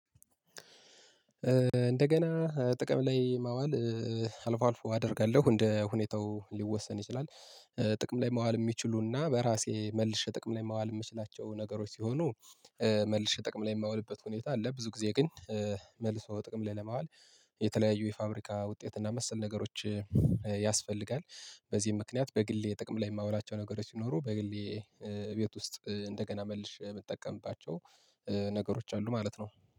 እንደገና ጥቅም ላይ ማዋል አልፎ አልፎ አደርጋለሁ። እንደ ሁኔታው ሊወሰን ይችላል። ጥቅም ላይ መዋል የሚችሉና በራሴ መልሼ ጥቅም ላይ ማዋል የምችላቸው ነገሮች ሲሆኑ መልሼ ጥቅም ላይ የማውልበት ሁኔታ አለ ብዙ ጊዜ ግን መልሶ ጥቅም ላይ ለማዋል የተለያዩ የፋብሪካ ውጤት እና መሰል ነገሮች ያስፈልጋል። በዚህ ምክንያት በግሌ ጥቅም ላይ የማውላቸው ነገሮች ቢኖሩ በግሌ ቤት ውስጥ እንደገና መልሼ የምጠቀምባቸው ነገሮች አሉ ማለት ነው።